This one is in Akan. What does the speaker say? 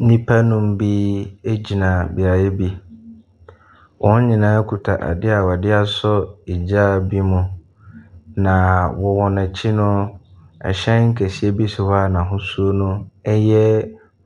Nnipa nnum bi gyina beaeɛ bi, wɔn nyinaa kita adeɛ a wɔde asɔ gya bi mu. Na wɔn akyi no, hyɛn kɛseɛ bi hɔ n’ahosuo yɛ